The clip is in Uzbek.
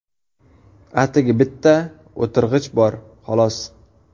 Atigi bitta o‘tirg‘ich bor, xolos.